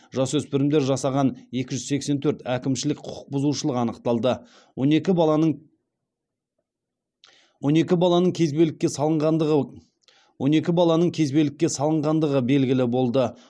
жасөспірімдер жасаған екі жүз сексен төрт әкімшілік құқық бұзушылық анықталды он екі баланың кезбелікке салынғандығы белгілі болды